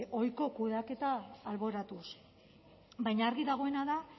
ohiko kudeaketa alboratuz baina argi dagoena da